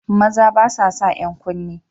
Maza ba sa san 'yan kunne